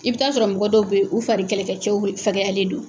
I bɛ ta sɔrɔ mɔgɔ dɔw bɛ u fari kɛlɛkɛcɛw fɛgɛyalen do.